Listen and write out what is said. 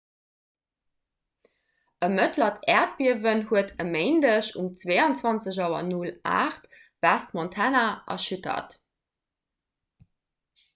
e mëttlert äerdbiewen huet e méindeg um 22.08 auer west-montana erschüttert